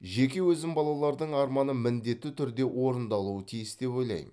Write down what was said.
жеке өзім балалардың арманы міндетті түрде орындалуы тиіс деп ойлаймын